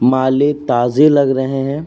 माले ताज़े लग रहे है।